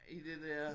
I det dér